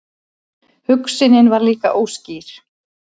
Hugsunin var líka óskýr.